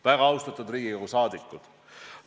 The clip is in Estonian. Lugupeetud rahvasaadikud!